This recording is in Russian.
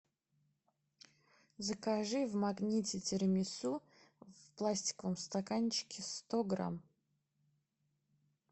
закажи в магните тирамису в пластиковом стаканчике сто грамм